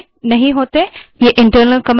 ये internal commands होती हैं